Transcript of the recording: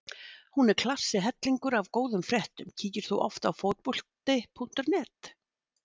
Hún er klassi hellingur af góðum fréttum Kíkir þú oft á Fótbolti.net?